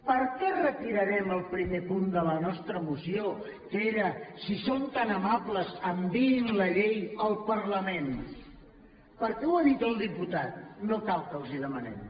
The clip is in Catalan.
per què retirarem el primer punt de la nostra moció que era si són tan amables enviïn la llei al parlament perquè ho ha dit el diputat no cal que els ho demanem